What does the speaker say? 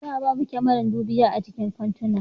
Da babu kamaran dubiya a cikin kantuna